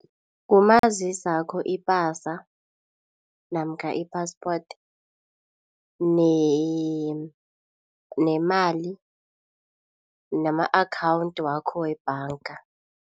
Ngumazisi wakho ipasa namkha i-passport nemali nama-akhawundi wakho webhanga.